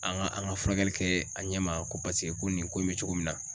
An ka an ka furakɛli kɛ a ɲɛ ma ko paseke ko nin ko in bɛ cogo min na